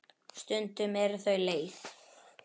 Stundum eru þau leið.